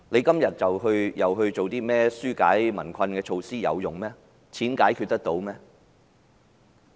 今天政府再提出一些紓解民困措施，有作用嗎？